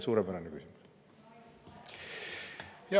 Suurepärane küsimus!